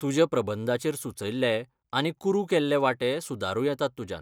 तुज्या प्रबंधाचेर सुचयल्ले आनी कुरू केल्ले वांटे सुदारूं येतात तुज्यान.